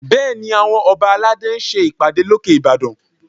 Bẹ́ẹ̀ni, àwọn ọba aládé ń ṣe ìpàdé lókè Ìbàdàn